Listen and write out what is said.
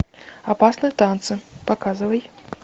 опасные танцы показывай